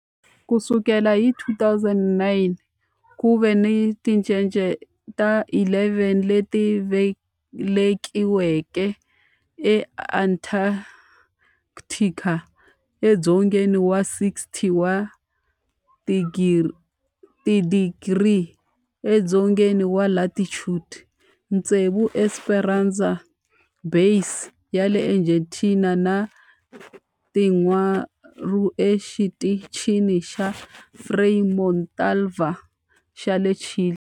Ku sukela hi 2009, ku ve ni tincece ta 11 leti velekiweke eAntarctica, edzongeni wa 60 wa tidigri edzongeni wa latitude, tsevu eEsperanza Base ya le Argentina ni tinharhu eXitichini xa Frei Montalva xa le Chile.